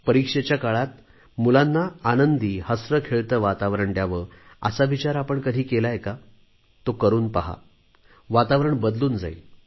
परीक्षेच्या काळात मुलांना आनंदी हसरेखेळते वातावरण द्यावे असा विचार आपण कधी केलाय का तो करून पहा वातावरण बदलून जाईल